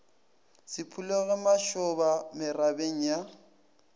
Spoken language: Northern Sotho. se phulego mašoba merabeng ya